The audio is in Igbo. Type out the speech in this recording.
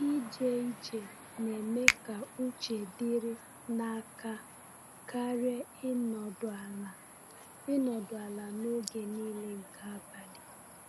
Ije ije na-eme ka uche dịrị n’aka karịa ịnọdụ ala ịnọdụ ala n’oge niile nke abalị.